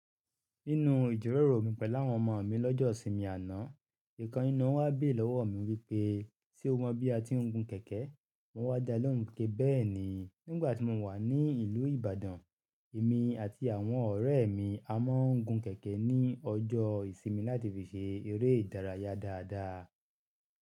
Nínu ìjíròrò mi pẹ̀lú àwọn ọmọ mi lọ́jọ́ ìsinmi àná, ìkan nínú wọn wá béèrè lọ́wọ́ mi wípé, ṣe o mọ bí a ti ń gun kẹ̀kẹ́? Mo wá dá lóhùn pé bẹ́ẹ̀ni, nígbà tí mo wà ní ìlú Ìbàdàn, èmi àti àwọn ọ̀rẹ́ mi a máa ń gun kẹ̀kẹ́ ní ọjọ́ ìsinmi láti fi ṣe eré ìdárayá dáadáa.